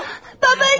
Babam!